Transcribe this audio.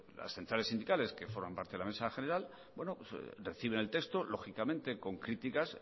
las centrales sindicales que forman parte de la mesa general reciben el texto lógicamente con críticas